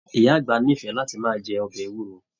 Ìyá àgbà n'ifẹ láti máa jẹ ọbẹ ewuro.